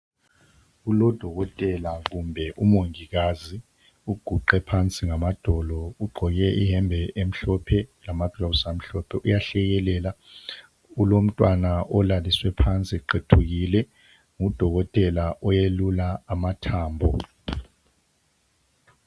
Kulodokotela kumbe umongikazi, uguqe phansi ngamadolo ugqoke iyembe emhlophe lamagilovisi amhlophe, uyahlekelela ulomntwana olaliswe phansi eqethukile, ngudokotela oyelula amathambo.